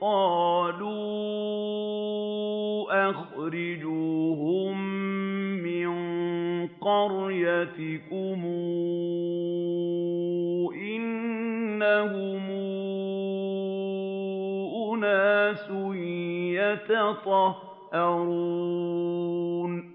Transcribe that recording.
قَالُوا أَخْرِجُوهُم مِّن قَرْيَتِكُمْ ۖ إِنَّهُمْ أُنَاسٌ يَتَطَهَّرُونَ